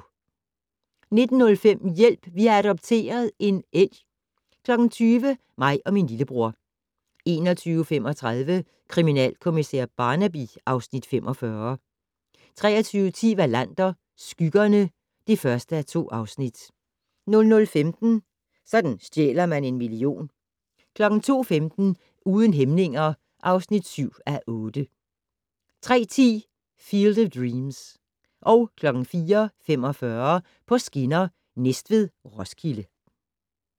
19:05: Hjælp! Vi har adopteret - en elg 20:00: Mig og min lillebror 21:35: Kriminalkommissær Barnaby (Afs. 45) 23:10: Wallander: Skyggerne (1:2) 00:15: Sådan stjæler man en million 02:15: Uden hæmninger (7:8) 03:10: Field of Dreams 04:45: På skinner: Næstved-Roskilde